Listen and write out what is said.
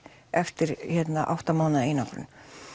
eftir átta mánaða einangrun